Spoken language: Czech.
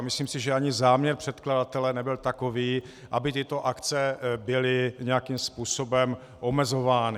A myslím si, že ani záměr předkladatele nebyl takový, aby tyto akce byly nějakým způsobem omezovány.